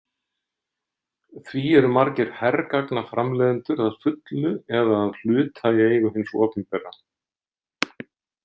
Því eru margir hergagnaframleiðendur að fullu eða að hluta í eigu hins opinbera.